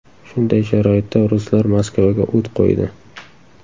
Shunday sharoitda ruslar Moskvaga o‘t qo‘ydi.